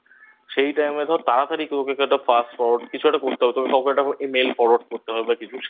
সেই Time এ ধর তাড়াতাড়ি কেউকে Fast Forward কিছু একটা করতে হবে তবে কাউকে একটা Email Forward করতে হবে